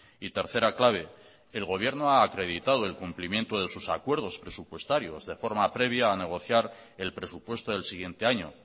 y tercera clave el gobierno ha acreditado el cumplimiento de sus acuerdos presupuestarios de forma previa a negociar el presupuesto del siguiente año